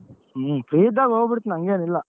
ಹ್ಮ್ free ಇದ್ದಾಗ ಹೋಗ್ಬಿಡ್ತೀವಿ ಹಂಗೇನ್ ಇಲ್ಲ.